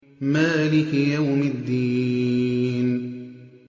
مَالِكِ يَوْمِ الدِّينِ